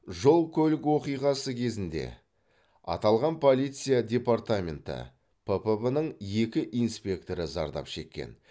жол көлік оқиғасы кезінде аталған полиция департаменті ппб ның екі инспекторы зардап шеккен